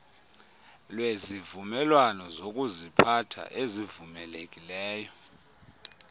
lwezivumelwano zokuziphatha ezivumelekileyo